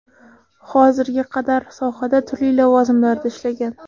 Hozirga qadar sohada turli lavozimlarda ishlagan.